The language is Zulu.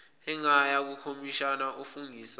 angaya kukhomishina ofungisayo